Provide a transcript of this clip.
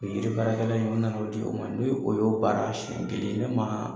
O yiri baarakɛla in, o nan'o di u ma. Ni o y'o baara siɲɛ kelen ne maa